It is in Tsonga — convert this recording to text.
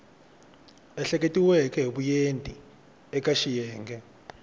ehleketiweke hi vuenti eka xiyenge